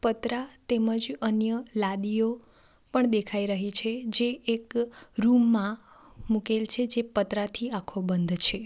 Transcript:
પતરા તેમજ અન્ય લાદીઓ પણ દેખાઈ રહી છે જે એક રૂમ માં મુકેલ છે જે પતરાથી આખો બંધ છે.